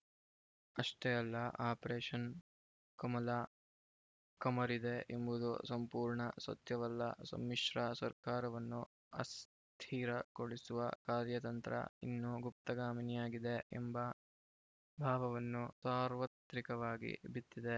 ಅಷ್ಟೇ ಅಲ್ಲ ಆಪರೇಷನ್‌ ಕಮಲ ಕಮರಿದೆ ಎಂಬುದು ಸಂಪೂರ್ಣ ಸತ್ಯವಲ್ಲ ಸಮ್ಮಿಶ್ರ ಸರ್ಕಾರವನ್ನು ಅಸ್ಥಿರಗೊಳಿಸುವ ಕಾರ್ಯತಂತ್ರ ಇನ್ನು ಗುಪ್ತಗಾಮಿನಿಯಾಗಿದೆ ಎಂಬ ಭಾವವನ್ನು ಸಾರ್ವತ್ರಿಕವಾಗಿ ಬಿತ್ತಿದೆ